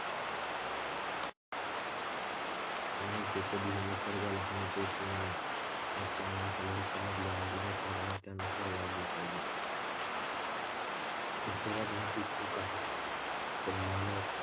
माणसाने कधीही निसर्गाला हानी पोचवू नये. आजच्या माणसाला हे समजले आहे की निसर्गाने त्यानुसार वागले पाहिजे, ही सर्वात मोठी चूक आहे. आपण मानव,